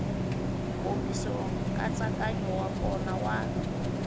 nkomiso nkatsakanyo wa kona wa